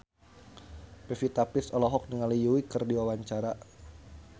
Pevita Pearce olohok ningali Yui keur diwawancara